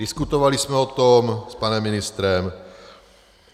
Diskutovali jsme o tom s panem ministrem.